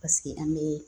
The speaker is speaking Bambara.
Paseke an bɛ